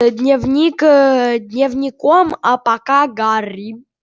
ээ дневник дневником ээ а пока гарри